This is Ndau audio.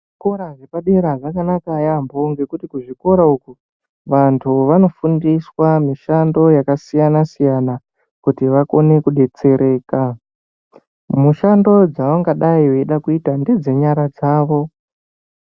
Zvikora zvepadera zvakanaka yaambo ngekuti kuzvikora uku vantu vanofundiswa mishando yakasiyana siyana kuti vakone kudetsereka mushando dzavangadai veida kuita ngedzenyara dzavo.